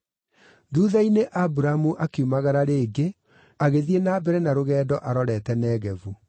Thuutha-inĩ Aburamu akiumagara rĩngĩ agĩthiĩ na mbere na rũgendo arorete Negevu.